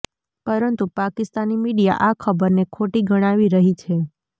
પરંતુ પાકિસ્તાની મીડિયા આ ખબરને ખોટી ગણાવી રહી છે